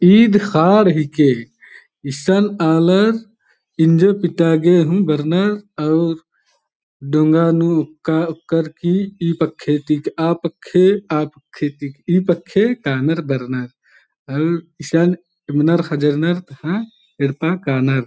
इद खाड हिके इशन आलर इन्जो पीटागे हूँ बर्नर अउर डोंगा नू ओकआ-ओकर की ई पखे ती आ पखे आ पखे ती ई पखे कानर बरनर अउर इशन येम्नर खजर्नर तहां येड्पा कानर ।